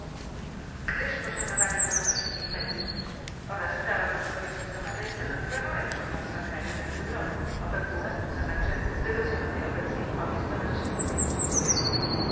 r., gdyż poszanowanie wolności mediów oraz prawa do pokojowych zgromadzeń stanowi warunek członkostwa kraju w Radzie Europy, OBWE, a także negocjowanej obecnie umowy stowarzyszeniowej z Unią Europejską.